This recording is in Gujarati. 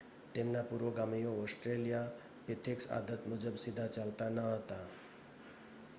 તેમના પુરોગમીઓ ઓસ્ટ્રેલિયાપિથિક્સ આદત મુજબ સીધા ચાલતા ન હતા